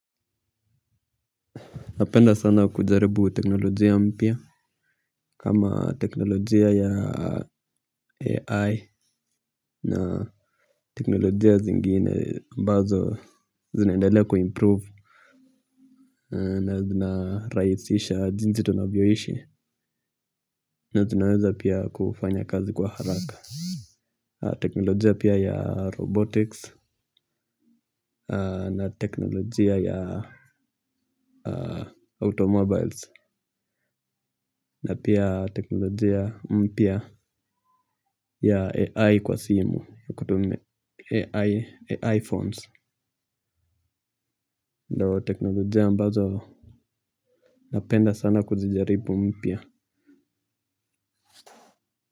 Napenda sana kujaribu teknolojia mpya kama teknolojia ya AI na teknolojia zingine ambazo zinaendaelea kuimprove. Na zina rahisha jinsi tunavyoishi na zinaweza pia kufanya kazi kwa haraka. Teknolojia pia ya robotics, na teknolojia ya automobiles, na pia teknolojia mpya ya AI kwa simu, AI phones. Ndo teknolojia ambazo napenda sana kuzijaribu mpya.